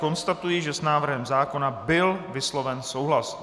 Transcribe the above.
Konstatuji, že s návrhem zákona byl vysloven souhlas.